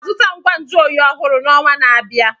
Aga m azụta ngwa nju oyi ọhụrụ n'ọnwa na-abịa.